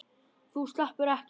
Þú sleppur ekki!